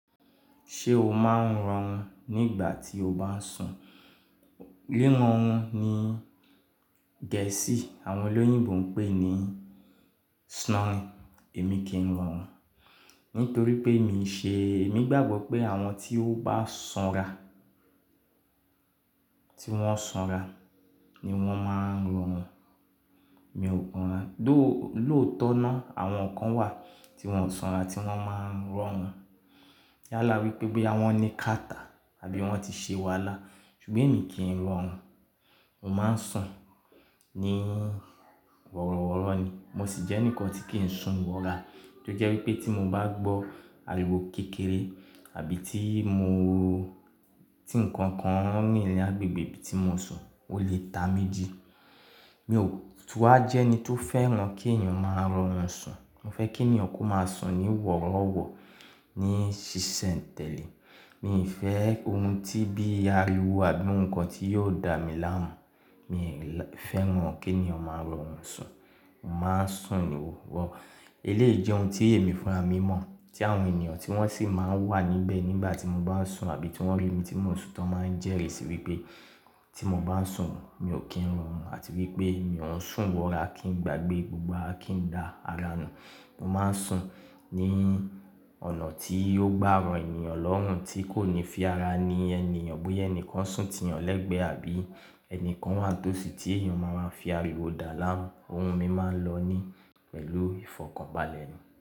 Ṣé o máa ń rọrùn nígbà tí o bá ń sùn? Rírọrùn ni Gẹ̀ẹ́sì àwọn olóyìnbo ń pè ní snoring. Èmi kì ń rọrùn nítorí pé mi ṣe-- èmi gbàgbọ́ pé àwọn tí ó bá sanra, tí wọ́n sanra ni wọ́n máa ń rọrùn. Mi ò rọrùn, lóòótọ́ náà àwọn kan wà tí wọ́n sanra tí wọ́n máa ń rọrùn. Y' ala wí pé boya wọn ní kàtá àbí wọ́n ti ṣe wàhálà. Ṣùgbọ́n èmi kì ń rọrùn. Mo máa ń sùn ní wọ̀rọ̀wọ̀rọ̀ ni. Mo sì jẹ́ ẹni kan tí kì ń sùn wọ̀ra. Tí ó jẹ́ wípé tí mo bá gbọ́ ariwo kékeré àbí tí mo-- tí ǹkan kan ní ilẹ̀ àgbègbè tí mo sùn, ó lè ta méjì. Mi ò-- tu wá jẹ́ ẹni tó fẹ́ràn kí èeyàn máa rọrùn sùn. Mo fẹ́ kí ènìyàn kó máa sùn ní wọ̀rọ̀wọ̀rọ̀, ní ṣiṣẹ́ǹtẹ̀lé. Mi ò fẹ́ ohun tí bí ariwo àbí ǹkan tí yóò dá mi láàmú. Mi ò fẹ́ràn kí ènìyàn máa rọrùn sùn. Mo máa ń sùn wọ̀rọ̀. Eléyìí jẹ́ ohun tí èmi fúnra mí mọ̀ tí àwọn ènìyàn tí wọ́n sì máa ń wà níbẹ̀ nígbà tí mo bá ń sùn àbí tí wọ́n rí mi tí mò ń sùn tán máa ń jèrè sí wípé tí mo bá ń sùn mi ò kí ń rọrùn àti wípé mi ò ń sùn wọ̀ra kí n gbàgbé gbogbo akíndà ara mi. Mo máa ń sùn ní ọ̀nà tí yóò gbá ro ènìyàn lọ́rùn tí kò ní fi ara ni ènìyàn bóyá ẹni kan sùn ti yan lẹ́gbẹ̀ẹ́ àbí ẹni kan wà tósì tí èeyàn ma máa fi ariwo dàá láàmú. Ohun mi máa ń lọ ní pẹ̀lú ìfọ̀kànbalẹ̀ mi.